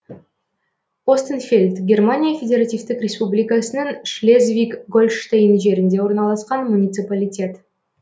остенфельд германия федеративтік республикасының шлезвиг гольштейн жерінде орналасқан муниципалитет